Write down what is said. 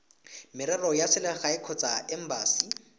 merero ya selegae kgotsa embasi